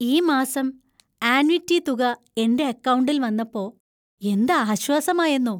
ഈ മാസം ആന്വിറ്റി തുക എന്‍റെ അക്കൗണ്ടിൽ വന്നപ്പോ എന്ത് ആശ്വാസമായെന്നോ.